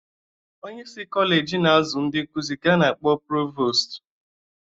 Onyeisi Kọleji a na-azụ ndị nkụzị ka a na-akpọ provostu